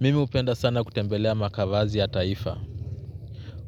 Mimi hupenda sana kutembelea makavazi ya taifa.